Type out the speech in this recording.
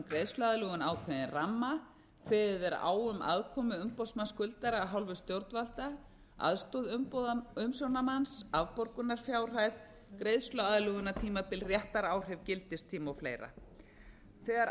greiðsluaðlögun ákveðinn ramma kveðið er á um aðkomu umboðsmanns skuldara af hálfu stjórnvalda aðstoð umsjónarmanns afborgunarfjárhæð greiðsluaðlögunartímabil réttaráhrif gildistíma og fleira þegar